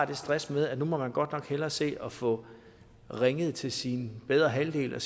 det stress med at nu må man godt nok hellere se at få ringet til sin bedre halvdel og